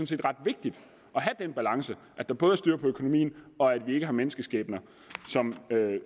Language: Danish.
set ret vigtigt at have den balance at der både er styr på økonomien og at vi ikke har menneskeskæbner